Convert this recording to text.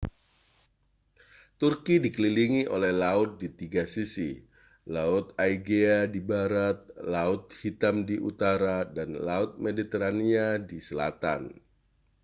turki dikelilingi oleh laut di tiga sisi laut aegea di barat laut hitam di utara dan laut mediterania di selatan